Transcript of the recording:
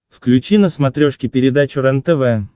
включи на смотрешке передачу рентв